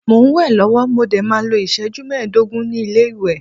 Mo n we lọwọ, mo dé máa n lo iṣẹju meedogun ni ile-iwe